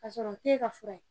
Ka sɔrɔ o t'e ka fura ye.